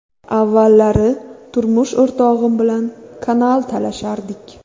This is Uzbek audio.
Avvallari turmush o‘rtog‘im bilan kanal talashardik.